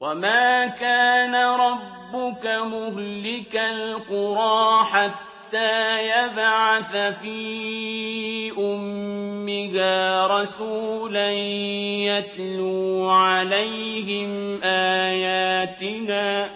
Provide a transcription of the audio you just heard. وَمَا كَانَ رَبُّكَ مُهْلِكَ الْقُرَىٰ حَتَّىٰ يَبْعَثَ فِي أُمِّهَا رَسُولًا يَتْلُو عَلَيْهِمْ آيَاتِنَا ۚ